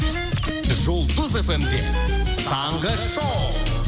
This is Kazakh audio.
жұлдыз фм де таңғы шоу